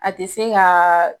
A tɛ se ka